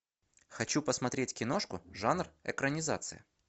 хочу посмотреть киношку жанр экранизация